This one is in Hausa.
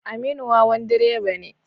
Aminu wawan direba ne.